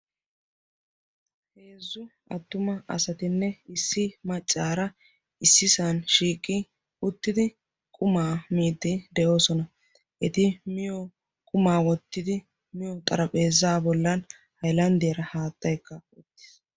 heezzu attuma asati issi maccaara ississan shiiqi uttidi qumaa miide de'oosona, eti miyyo qumaa wottidi miyoo xaraphphezza bollan haylanddiyaara haattaykka uttiis.